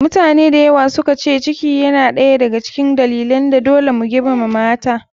Mutane dayawa suka ce ciki yana ɗaya da ga cikin dalilin da dole mu girmama mata.